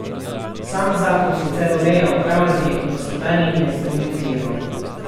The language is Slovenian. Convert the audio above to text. Sam zakon sicer ureja upravljanje in gospodarjenje z drugim tirom.